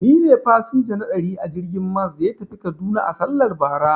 Ni ne fasinja na ɗari a jirgin mas da ya tafi kaduna a sallar bara.